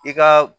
I ka